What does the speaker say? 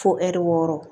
Fo ɛri wɔɔrɔ